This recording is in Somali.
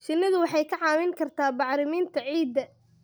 Shinnidu waxay kaa caawin kartaa bacriminta ciidda.